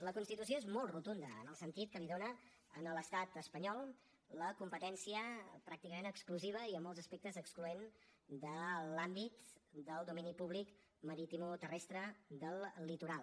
la constitució és molt rotunda en el sentit que li dona a l’estat espanyol la competència pràcticament exclusiva i amb molts aspectes excloent de l’àmbit del domini públic maritimoterrestre del litoral